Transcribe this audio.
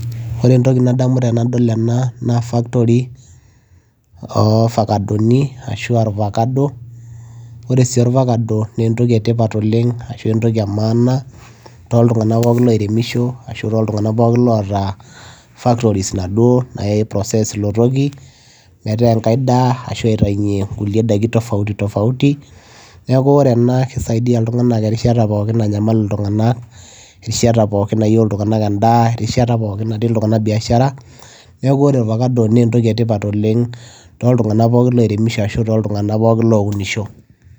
ore entoki nadamu tenadol ena naa factory ofakadoni ashua irvakado ore sii orvakado naa entoki etipat oleng ashu entoki e maana toltung'anak pookin loiremisho ashu toltung'anak pookin loota factories naduo nae process ilo toki metaa enkae daa ashu aitainyie nkulie daiki tofauti tofauti niaku ore ena kisaidia iltung'anak erishata pookin nanyamal iltung'anak erishata pookin nayieu iltung'anak endaa erishata pookin natiii iltung'anak biashara neeku ore orvakado naa entoki etipat oleng toltung'anak pookin loiremisho ashu toltung'anak lounisho.